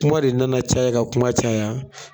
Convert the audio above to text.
Kuma de nana caya ka kuma caya